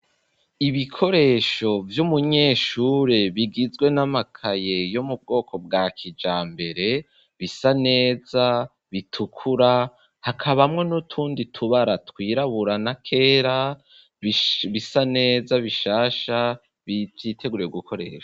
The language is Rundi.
Ibikoresho, vy'umunyeshure bigizwe n'amakaye, yo mu bwoko bwa kijambere ,bisa neza bitukura hakabamwo n'utundi tubara twiraburana ,kera, bisa neza bishasha vyiteguye gukoreshwa